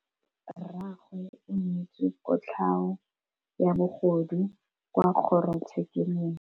Rragwe o neetswe kotlhaô ya bogodu kwa kgoro tshêkêlông.